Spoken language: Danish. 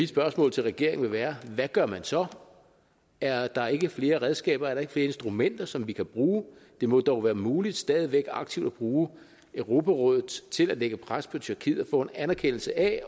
spørgsmål til regeringen vil være hvad gør man så er der ikke flere redskaber er der ikke flere instrumenter som vi kan bruge det må dog være muligt stadig væk aktivt at bruge europarådet til at lægge pres på tyrkiet få en anerkendelse af